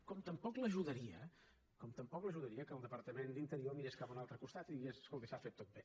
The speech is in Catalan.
com tampoc l’ajudaria com tampoc l’ajudaria que el departament d’interior mirés cap a un altre costat i digués escolti s’ha fet tot bé